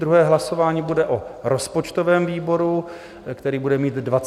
Druhé hlasování bude o rozpočtovém výboru, který bude mít 25 členů.